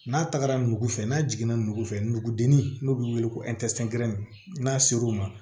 N'a tagara nugu fɛ n'a jiginna nugu fɛ nugudinin n'o bɛ wele ko n'a ser'u ma